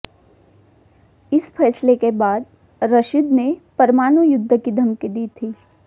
इस फैसले के बाद रशीद ने परमाणु युद्ध की धमकी दी थी